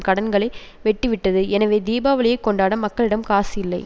கடன்களை வெட்டிவிட்டது எனவே தீபாவளியை கொண்டாட மக்களிடம் காசு இல்லை